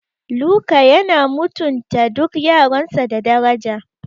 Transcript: Luka yana mutunta duk yaransa da daraja.